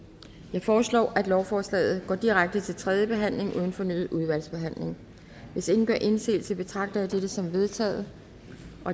jeg foreslår at lovforslaget går direkte til tredje behandling uden fornyet udvalgsbehandling hvis ingen gør indsigelse betragter jeg det som vedtaget